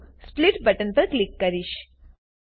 હવે હું split button પર ક્લિક કરીશ